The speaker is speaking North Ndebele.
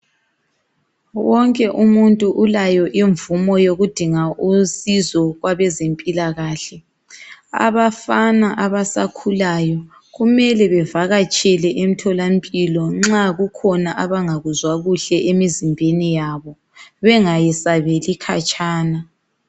Wonke umuntu ulayo imvumo yokudinga owosizo kwabezempilakahle abafana abasakhulayo kumele bevakatshele emtholampilo nxa kukhona abangakuzwa kuhle emzimbeni yabo bengayesabeli khatshana